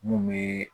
Mun be